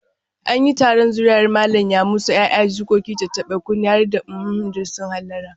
An yi taron zuri'ar Malam Yamusa, 'ya'ya, jikoki, tattaɓa-kunne har da uhumhum duk sun hallara.